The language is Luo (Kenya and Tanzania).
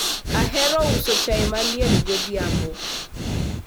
ahero uso chai maliet godhiambo